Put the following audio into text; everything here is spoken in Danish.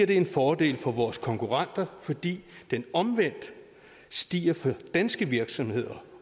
det en fordel for vores konkurrenter fordi den omvendt stiger for danske virksomheder